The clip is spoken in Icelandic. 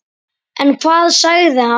En hvað sagði hann?